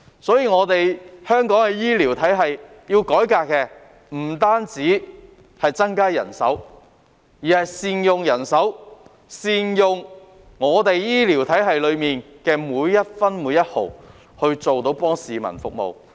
所以，要改革香港的醫療體系，不單要增加人手，亦要善用人手，善用醫療體系的每一分每一毫來服務市民。